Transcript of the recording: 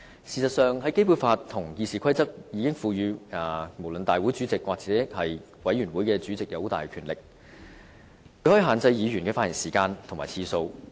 事實上，《基本法》和《議事規則》已賦予不論是大會主席或委員會主席很大的權力，他可以限制議員的發言時間和次數。